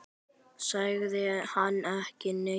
Sagði samt ekki neitt.